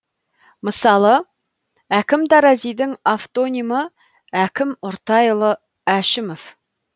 мысалы әкім таразидың автонимі әкім ұртайұлы әшімов